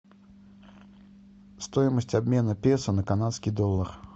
стоимость обмена песо на канадский доллар